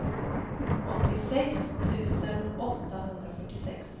åttiosex tusen åttahundrafyrtiosex